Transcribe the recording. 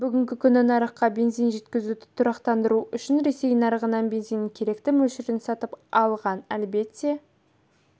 бүгінгі күні нарыққа бензин жеткізуді тұрақтандыру үшін ресей нарығынан бензиннің керекті мөлшерін сатып алған әлбетте